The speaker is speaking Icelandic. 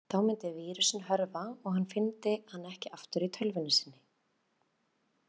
Þá myndi vírusinn hörfa og hann fyndi hann ekki aftur í tölvunni sinni.